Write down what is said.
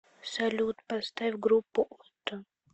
салют поставь группу отто